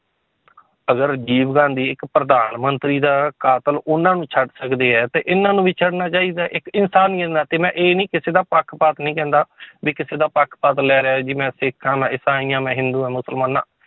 ਅਗਰ ਰਾਜੀਵ ਗਾਂਧੀ ਇੱਕ ਪ੍ਰਧਾਨ ਮੰਤਰੀ ਦਾ ਕਾਤਿਲ ਉਹਨਾਂ ਨੂੰ ਛੱਡ ਸਕਦੇ ਹੈ ਤੇ ਇਹਨਾਂ ਨੂੰ ਵੀ ਛੱਡਣਾ ਚਾਹੀਦਾ ਹੈ, ਇੱਕ ਇਨਸਾਨੀਅਤ ਦੇ ਨਾਤੇ ਮੈਂ ਇਹ ਨੀ ਕਿਸੇ ਦਾ ਪੱਖਪਾਤ ਨੀ ਕਹਿੰਦਾ ਵੀ ਕਿਸੇ ਦਾ ਪੱਖਪਾਤ ਲੈ ਰਿਹਾ ਜੀ ਮੈਂ ਸਿੱਖ ਹਾਂ, ਮੈਂ ਇਸਾਈ, ਹਾਂ ਮੈਂ ਹਿੰਦੂ ਹਾਂ, ਮੁਸਲਮਾਨ ਹਾਂ।